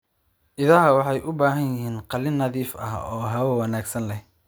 Idaha waxay u baahan yihiin qalin nadiif ah oo hawo wanaagsan leh.